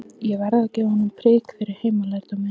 Ég verð að gefa honum prik fyrir heimalærdóminn.